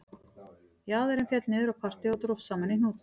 Jaðarinn féll niður á parti og dróst saman í hnút